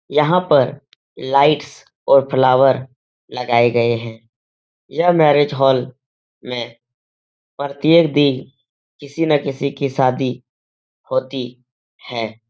यहां पर लाइट्स और फ्लावर लगाए गए हैं। यह मैरिज हॉल में प्रत्येक दिन किसी न किसी की शादी होती है।